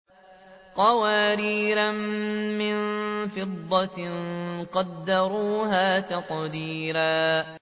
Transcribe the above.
قَوَارِيرَ مِن فِضَّةٍ قَدَّرُوهَا تَقْدِيرًا